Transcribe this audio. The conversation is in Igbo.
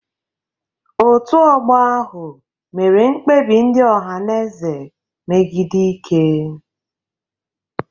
Otu ọgbọ ahụ mere mkpebi ndị Ohanaeze megide Ike.